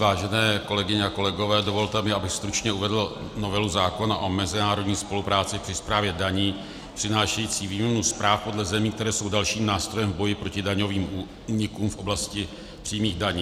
Vážené kolegyně a kolegové, dovolte mi, abych stručně uvedl novelu zákona o mezinárodní spolupráci při správě daní přinášející výměnu zpráv podle zemí, které jsou dalším nástrojem v boji proti daňovým únikům v oblasti přímých daní.